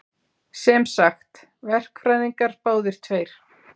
Sem sagt, verkfræðingar báðir tveir.